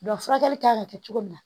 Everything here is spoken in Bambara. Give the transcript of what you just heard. Dɔn furakɛli kan ka kɛ cogo min na